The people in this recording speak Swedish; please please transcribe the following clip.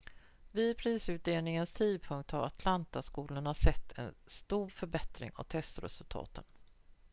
vid prisutdelningens tidpunkt hade atlanta-skolorna sett en stor förbättring av testresultaten